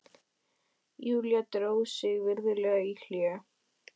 Júlía dró sig virðulega í hlé.